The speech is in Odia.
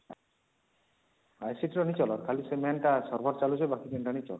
ର ହିଁ ଚାଲବା ଖାଲି ସେ main ଟା server ଚାଲୁଛି ବାକି ୩ଟା ନାହିଁ ଚାଲବା